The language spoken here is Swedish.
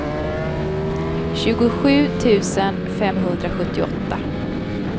tjugosju tusen femhundrasjuttioåtta